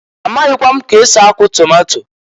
A maghịkwa m k'esi akụ tomato.